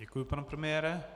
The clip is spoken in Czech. Děkuji, pane premiére.